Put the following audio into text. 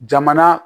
Jamana